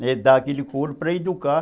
Dá aquele coro para educar.